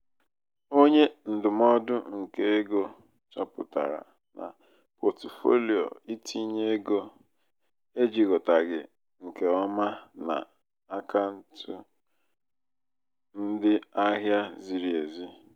onye ndụmọdụ nke ego chọpụtara na pọtụfoliyo itinye ego ejikọtaghị nke ọma na akaụntụ ndị ahịa ziri ezi.